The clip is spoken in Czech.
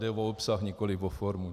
Jde o obsah, nikoli o formu.